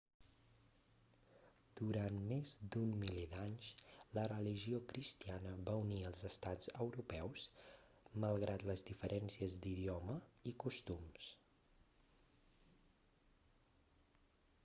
durant més d'un miler d'anys la religió cristiana va unir els estats europeus malgrat les diferències d'idioma i costums